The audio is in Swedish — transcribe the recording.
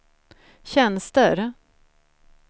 tjänster